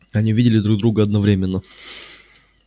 они увидели друг друга одновременно